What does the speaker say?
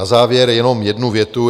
Na závěr jenom jednu větu.